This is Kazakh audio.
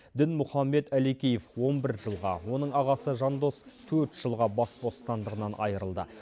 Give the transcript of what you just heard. дінмұхаммед алекеев он бір жылға оның ағасы жандос төрт жылға бас бостандығынан айырылды